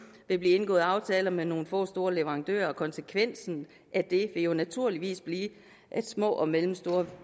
vil blive indgået aftaler med nogle få store leverandører og konsekvensen af det vil jo naturligvis blive at små og mellemstore